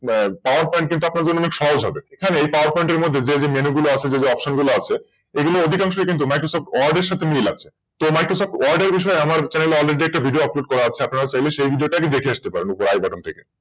PowerPoint আপনার জন্য অনেক সহজ হবে এ PowerPoint এর মধ্যে যে যে Menu গুলো রয়েছে যে Option গুলো আছে এগুলো অধিকাংশই কিন্তু MicrosoftWord এর সাথে মিল আছে তো MicrosoftWord এর বিষয়ে আমার Channel এ কিন্ত Already একটা ভিডিও Upload করা আছে আপনারা চাইলে সেই ভিডিওটা কি দেখে আসতে পারবেন IButton থেকে